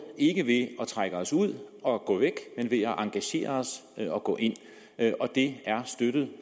ikke ved at trække os ud og gå væk men ved at engagere os og gå ind det er støttet